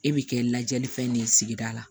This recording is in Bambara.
E bi kɛ lajɛlifɛn ne ye sigida la